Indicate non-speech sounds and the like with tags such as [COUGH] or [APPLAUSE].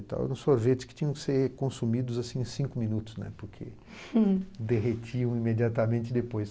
e tal. Eram sorvetes que tinham que ser consumidos em cinco minutos, né, porque [LAUGHS] derretiam imediatamente depois.